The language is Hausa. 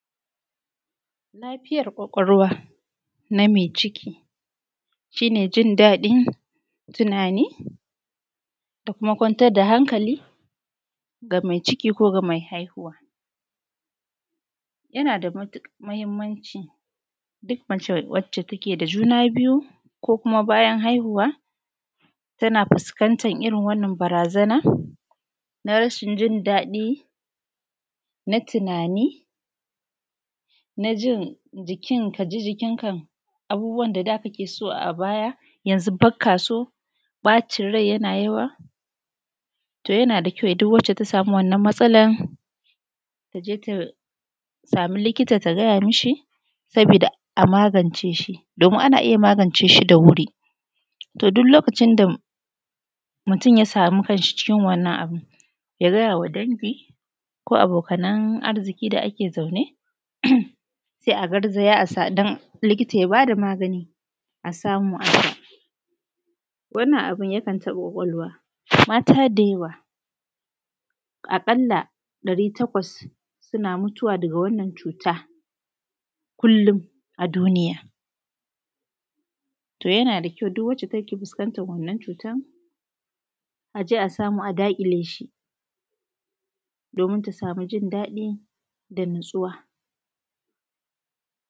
Lafijar ƙwaƙwalwa na mai ciki shi ne jin daɗin tunani da kuma kwantar da hankali ga mai ciki ko ga mai haihuwa. Yana da matuƙar muhimmanci duk mace wacce take da juna biyu, ko kuma bayan haihuwa tana fuskantar irin wannan barazanar na rashin jin daɗi, na tunanii, na jin jikin, ka ji jikin ka abubuwan da daa kakee so a baya yanzu bakka so, ɓacin rai yana yawa. To yana da kyau duk wacce ta samu wannan matsalar ta je ta samu likita ta gaya ma shi, saboodaa a magance shi, domin ana iya magance shi da wuri. To duk lokacin da mutum ya samu kan shi cikin wannan abu, ya gaya wa dangi, koo abokanan arziƙi da ake zaune. Sai a garzaya don likita ya baa da magani a samu a sha. Wannan abu ya kan taɓa ƙwaƙwalwa. Mata da yawa aƙalla ɗari takwas suna mutuwa daga wannan cuuta kullum a duniya. To yana da kyau duk wacce take fuskantar wannan cutar a je a samu a daƙile shi, domin ta samu jin daɗi da natsuwa.